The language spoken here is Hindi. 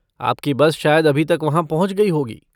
आपकी बस शायद अभी तक वहाँ पहुँच गई होगी।